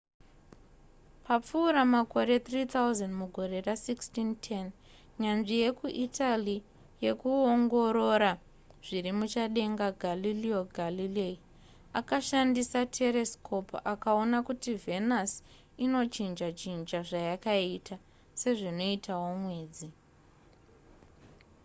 papfuura makore 3 000 mugore ra1610 nyanzvi yekuitaly yekuongorora zviri muchadenga galileo galilei akashandisa teresikopu akaona kuti venus inochinja chinja zvayakaita sezvinoitawo mwedzi